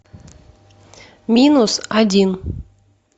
минус один